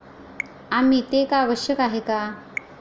आम्ही ते का आवश्यक आहे का?